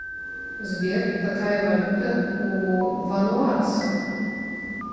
сбер какая валюта у вануатцев